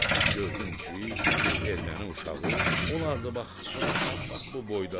gördüm ki, bir erməni uşağı olardı bax, bax, bax, bax bu boyda.